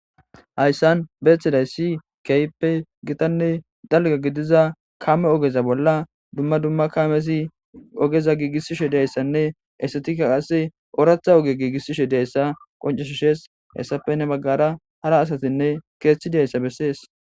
hayssan beeththiday si keyppe gitanne dalga gidiza kame ogeza bolla dumma dumma kamesi ogeza giigissishe deyssanne esetika qasse ooratha oge giigissishe deyssa qonceshshees hessapenne baggara hara asatinne keeththi dayssa bessees